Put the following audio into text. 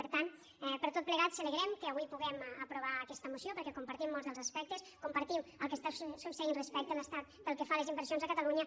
per tant per tot plegat celebrem que avui puguem aprovar aquesta moció perquè compartim molts dels aspectes compartim el que està succeint respecte a l’estat pel que fa a les inversions a catalunya